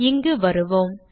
இங்கு வருவோம்